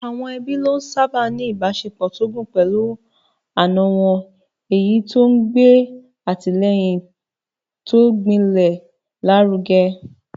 Àwọn ẹbí lónìí sáábà ń ní ìbáṣepọ̀ tó gún pẹ̀lú àna wọn, èyí tó ń gbé àtìlẹ́yìn tó gbilẹ̀ lárugẹ.